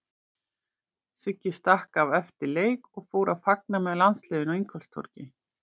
Siggi stakk af eftir leik og fór að fagna með landsliðinu á Ingólfstorgi.